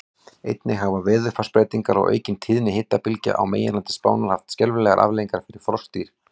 Einnig hafa veðurfarsbreytingar og aukin tíðni hitabylgja á meginlandi Spánar haft skelfilegar afleiðingar fyrir froskdýr.